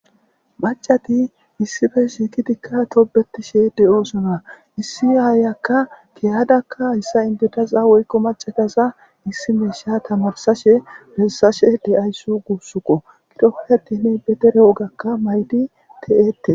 macati issife shiikitikka tobetishe de7oosona issi aayakka keyadakka issa indedaza woykko macadasa issi meesha tamarsashe bessashe deyayss guussuko gidohetene betere wogakka maydi te7eette